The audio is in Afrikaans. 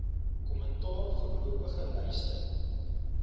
kommentaar voorlopige lyste